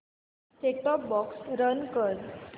set top box run कर